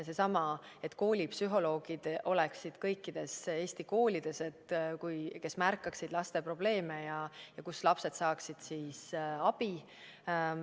Näiteks see, et kõikides Eesti koolides oleksid koolipsühholoogid, kes märkaksid laste probleeme ja kellelt lapsed saaksid abi.